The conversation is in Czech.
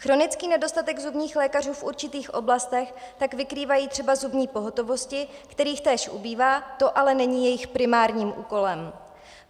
Chronický nedostatek zubních lékařů v určitých oblastech tak vykrývají třeba zubní pohotovosti, kterých též ubývá, to ale není jejich primárním úkolem.